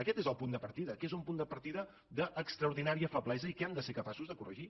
aquest és el punt de partida que és un punt de partida d’extraordinària feblesa i que hem de ser capaços de corregir